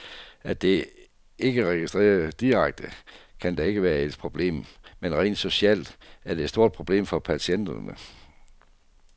At det ikke registreres direkte, kan da ikke være et problem, men rent socialt er det et stort problem for patienterne.